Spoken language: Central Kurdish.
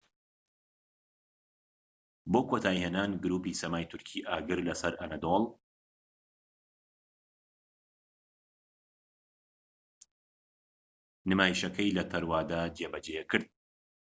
بۆ کۆتایی هێنان گروپی سەمای تورکی ئاگر لە سەر ئەنەدۆڵ نمایشەکەی لە تەروادە جێبەجێکرد